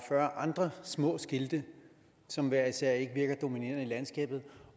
fyrre andre små skilte som hver især ikke virker dominerende i landskabet